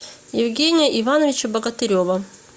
евгения ивановича богатырева